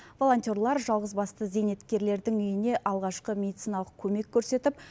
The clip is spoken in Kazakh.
волонтерлар жалғызбасты зейнеткерлердің үйіне алғашқы медициналық көмек көрсетіп